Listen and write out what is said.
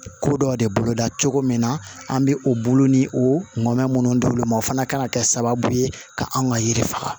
Ko dɔ de boloda cogo min na an bɛ o bolo ni o mɛn minnu dil'olu ma o fana kan ka kɛ sababu ye ka anw ka yiri faga